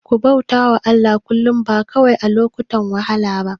Ku bauta wa Allah kullum, ba kawai a lokutan wahala ba.